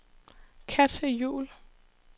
Katja Juhl